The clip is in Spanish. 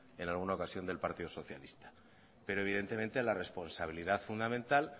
en alguna ocasión del partido socialista pero evidentemente la responsabilidad fundamental